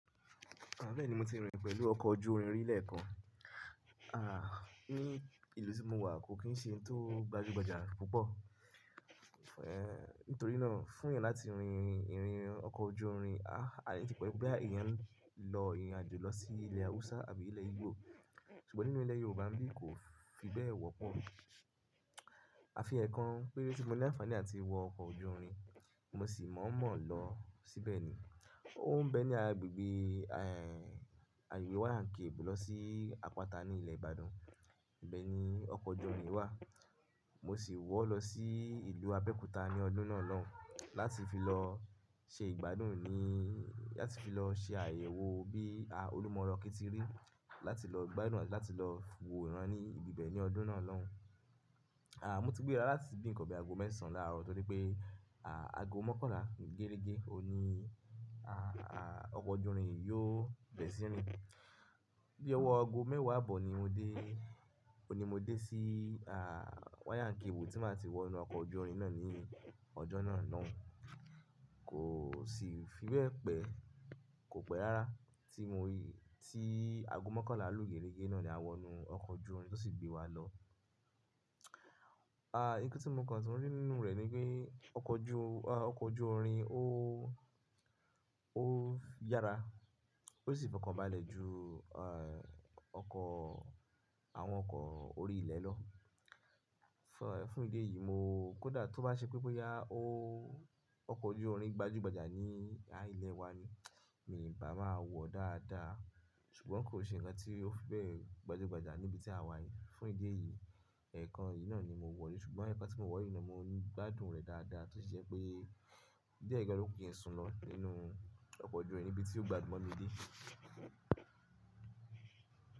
Bẹ́ẹ̀ni, mo ti rìn pẹ̀lú ọkọ̀ ojú irin rí lẹ́ẹ̀kan. À, ní ìlú tí mo wà kò kín ṣe tó gbajúgbajà púpọ̀. Ẹ̀, nítorí náà fún èèyàn láti rin ìrìn ọkọ̀ ojú irin, a lè ti pẹ̀ pé bí èèyàn ń lọ ìrìnàjò lọ sí ilẹ̀ haúsá àbí ilẹ̀ Igbo. Ṣùgbọ́n nínú ilẹ̀ Yorùbá bí kò fi bẹ́ẹ̀ wọ́pọ̀. A fi ẹ̀kan péré tí mo ní àǹfààní láti wọ ọkọ̀ ojú irin, mo sì mọ̀ọ́mọ̀ lọ síbẹ̀ ni. Ó ń bẹ ní agbègbè, ẹ́, Ayẹ́wé wáńke èbó lọ sí àpáta ní ilẹ̀ Ibadan. Ìbẹ́ ni ọkọ̀ ojú irin wà. Mo sì wọ̀ lọ sí ìlú Abẹ́òkúta ní ọdún náà lọ́hun láti fi lọ ṣe ìgbádùn níí, láti fi lọ ṣe àyẹ̀wò bí a olúmọ rock ti rí, láti lọ gbádùn àti láti lọ wòran ní ibi bẹ́ẹ̀ ní ọdún náà lọ́hun. À, mo ti gbéra láti bí nǹkan bí aago mẹ́sàn lá àárọ̀ torí pé, à, aago mọ́kànlá géregé òní, à, à, ọkọ̀ ojú irin yóò bẹ̀rẹ̀ sí ní rìn. Bí owó aago mẹ́wàá àbọ̀ ni mo dé, òní mo dé sí, à, wire and cable tí màá ti wọ inú ọkọ̀ ojú irin náà ní ọjọ́ náà náà. Kò sì fi bẹ́ẹ̀ pẹ́, kò pẹ́ rárá tí mo rí tí aago mọ́kànlá lù gérége náà ni a wọ inú ọkọ̀ ojú irin tó sì gbé wa lọ. À, nǹkan tí mo kàn tùn rí nínú rẹ̀ ni pé ọkọ̀ ojú, a, ọkọ̀ ojú irin ó, ó yára. Ó sì fi ọkàn balẹ̀ ju, ẹ́, ọkọ̀, àwọn ọkọ̀ orí ilẹ̀ lọ. Ẹ̀, fún ìdí èyí mo kódà tó bá ṣe pé pé ya o ọkọ̀ ojú irin gbajúgbajà ní, a, ilẹ̀ wa ni, mi ò bá máa wọ̀ dáadáa. Ṣùgbọ́n kò ṣe ǹkan tí ó fi bẹ́ẹ̀ gbajúgbajà níbi tí à wá yìí. Fún ìdí èyí, ẹ̀kan yìí náà ni mo wọ̀ rí. Ṣùgbọ́n ẹ̀ẹ̀kan tí mo wọ̀ yìí náà mo ní ìgbádùn rẹ̀ dáadáa tí ó ṣe pé díẹ̀ gan lókù kì í sun lọ nínú ọkọ̀ ojú irin níbi tí ó gbadùn mó mi dé.